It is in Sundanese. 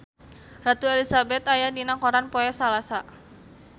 Ratu Elizabeth aya dina koran poe Salasa